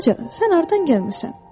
Balaca, sən hardan gəlmisən?